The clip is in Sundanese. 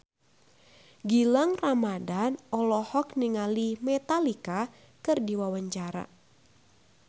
Gilang Ramadan olohok ningali Metallica keur diwawancara